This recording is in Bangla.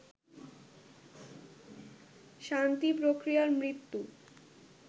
শান্তি প্রক্রিয়ার মৃত্যু